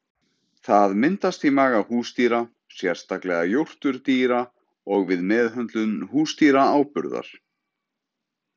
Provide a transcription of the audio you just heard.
Það myndast í maga húsdýra, sérstaklega jórturdýra, og við meðhöndlun húsdýraáburðar.